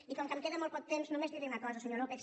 i com que em queda molt poc temps només diré una cosa senyor lópez